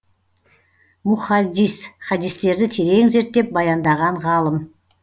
мухаддис хадистерді терең зерттеп баяндаған ғалым